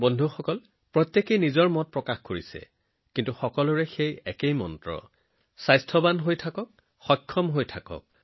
বন্ধুসকল সকলোৰে নিজৰ নিজৰ মতামত আছে কিন্তু সকলোৰে এটা মন্ত্ৰ আছেসুস্থ হৈ থাকক ফিট হৈ থাকক